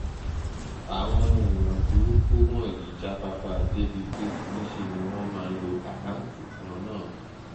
àwọn èèyàn burúkú wọ̀nyí jáfáfá débíi pé níṣẹ́ ni wọ́n máa ń lo àkáǹtì kan náà